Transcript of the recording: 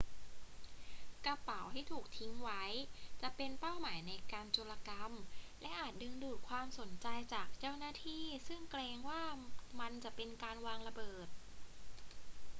กระเป๋าที่ถูกทิ้งไว้จะเป็นเป้าหมายในการโจรกรรมและอาจดึงดูดความสนใจจากเจ้าหน้าที่ซึ่งเกรงว่ามันจะเป็นการวางระเบิด